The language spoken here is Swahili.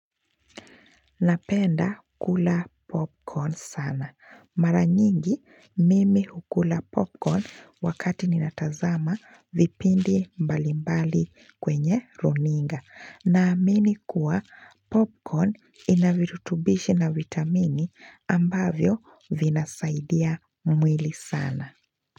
Napenda kula popcorn sana. Maranyingi mimi hukula popcorn wakati ninatazama vipindi mbalimbali kwenye runinga. Naamini kuwa popcorn ina virutubishi na vitamini ambavyo vinasaidia mwili sana.